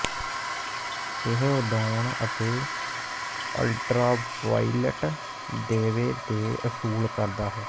ਇਹ ਉਡਾਉਣ ਅਤੇ ਅਲਟਰਾਵਾਇਲਟ ਦੀਵੇ ਦੇ ਅਸੂਲ ਕਰਦਾ ਹੈ